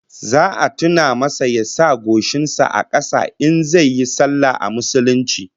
Za a tuna masa ya sa goshin sa a kasa in zai yi sallah a musulunce